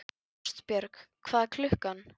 Ástbjörg, hvað er klukkan?